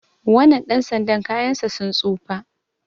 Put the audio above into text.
wannan ɗan sanda kayansa sun tsufa